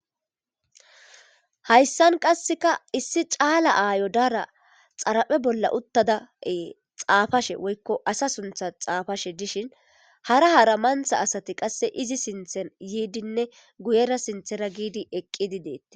Hayssan qasseka issi caala aayo dara xaraphe bolla uttadae xaafashe woykko asa suntha xaafashe dishin hara hara mantha asati qasse izi sinthen yiidinne guyera sinthera giidi eqqidideeti